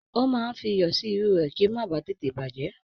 Ó máa ń fi iyọ̀ sí irú rẹ̀ kí ó má ba à tètè bàjẹ́